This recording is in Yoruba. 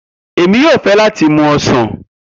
Emi yoo fẹ lati mu Osan.